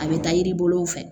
A bɛ taa yiri bolow fɛ